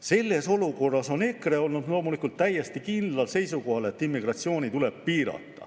Selles olukorras on EKRE olnud loomulikult täiesti kindlal seisukohal, et immigratsiooni tuleb piirata.